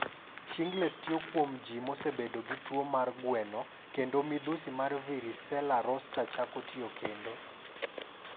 "Shingles timore kuom ji mosebedo gi tuo mar gweno kendo midhusi mar varicella zoster chako tiyo kendo."